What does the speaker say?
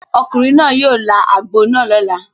Ọkùnrin náà yóò là àgbò náà lọ́la.